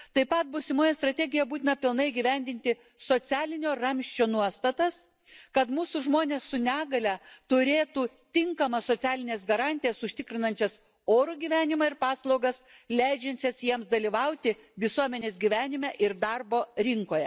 Taip pat būsimoje strategijoje būtina pilnai įgyvendinti socialinio ramsčio nuostatas, kad mūsų žmonės su negalia turėtų tinkamas socialines garantijas užtikrinančias orų gyvenimą ir paslaugas, leidžiančias jiems dalyvauti visuomenės gyvenime ir darbo rinkoje.